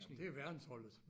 Jamen det er verdensholdet